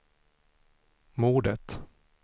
mordet